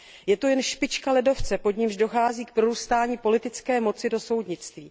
Je to jen špička ledovce, pod nímž dochází k prorůstání politické moci do soudnictví.